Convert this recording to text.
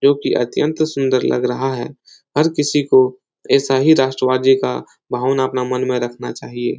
जोकि अत्यंत सुंदर लग रहा है। हर किसी को ऐसा ही राष्ट्र्वादी का भावना अपना मन में रखना चाहिए।